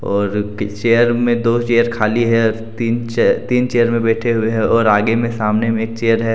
और चेयर मे दो चेयर खाली है। तीन चेयर तीन चेयर मे बैठे हुए है। और आगे मे सामने मे चेयर है।